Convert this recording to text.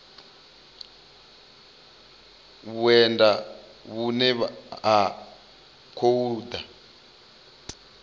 vhuendi vhune ha khou ḓa